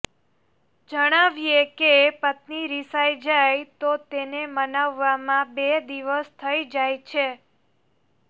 જણાવીએ કે પત્ની રિસાઈ જાય તો તેને મનાવવામાં બે દિવસ થઇ જાય છે